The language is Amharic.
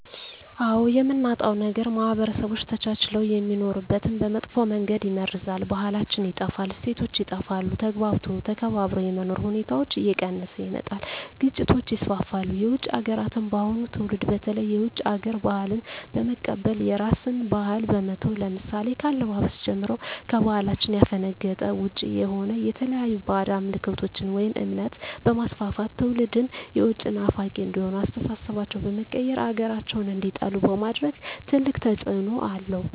አዎ የምናጣው ነገር ማህበረሰቦች ተቻችለው የሚኖሩትን በመጥፎ መንገድ ይመርዛል , ባህላችን ይጠፋል, እሴቶች ይጠፋሉ, ተግባብቶ ተከባብሮ የመኖር ሁኔታዎች እየቀነሰ ይመጣል ግጭቶች ይስፋፋሉ። የውጭ ሀገራትን የአሁኑ ትውልድ በተለይ የውጭ ሀገር ባህልን በመቀበል የራስን ባህል በመተው ለምሳሌ ከአለባበስ ጀምሮ ከባህላችን ያፈነገጠ ውጭ የሆነ የተለያዩ ባህድ አምልኮቶችን ወይም እምነት በማስፋፋት ትውልድም የውጭ ናፋቂ እንዲሆኑ አስተሳሰባቸው በመቀየር ሀገራቸውን እንዲጠሉ በማድረግ ትልቅ ተፅዕኖ አለው።